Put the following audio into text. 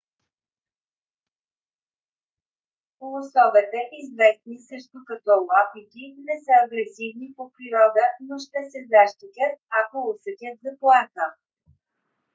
лосовете известни също като уапити не са агресивни по природа но ще се защитяст ако усетят заплаха